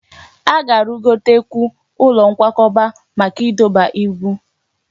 A ga-arụgotekwu ụlọ nkwakọba maka ịdọba ibu